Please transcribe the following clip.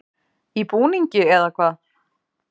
Í búningi, eða hvað?